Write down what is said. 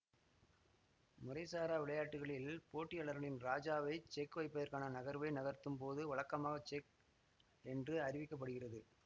முறைசாரா விளையாட்டுக்களில் போட்டியாளரின் ராஜாவை செக் வைப்பதற்கான நகர்வை நகர்த்தும் போது வழக்கமாக செக் என்று அறிவிக்க படுகிறது